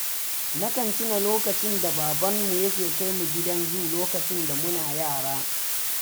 Nakan tuna lokacin da babanmu yake kai mu gidan zu lokacin da muna yara